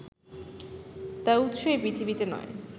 তার উৎস এই পৃথিবীতে নয়